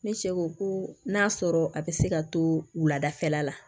Ne cɛ ko ko n'a sɔrɔ a bɛ se ka to wuladafɛla la